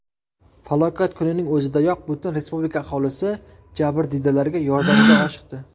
Falokat kunining o‘zidayoq butun respublika aholisi jabrdiydalarga yordamga oshiqdi.